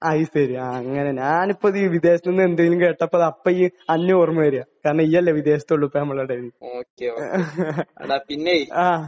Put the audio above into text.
അത് ശരി. ആഹ്. അങ്ങനെ. ഞാൻ ഇപ്പോൾ ഈ വിദേശത്ത് നിന്ന് എന്തെങ്കിലും കേട്ടപ്പോൾ ആയപ്പോൾ നിന്നെയാണ് ഓർമ വരുക. കാരണം നീയല്ലേ വിദേശത്തൊള്ളൂ ഇപ്പോൾ നമ്മുടെ ഇടയിൽ നിന്ന്. . ആഹ്.